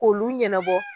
K'olu ɲɛnabɔ